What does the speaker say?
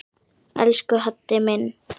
Elsku Haddi minn.